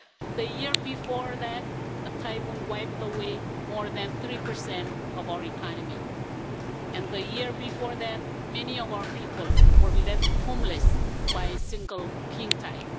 The year before that, a typhoon wiped away more than 3 of our economy and the year before, that many of our people were left homeless by a single king tide.